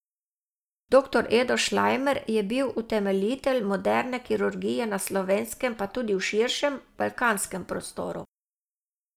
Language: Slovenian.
Doktor Edo Šlajmer je bil utemeljitelj moderne kirurgije na Slovenskem pa tudi v širšem, balkanskem prostoru.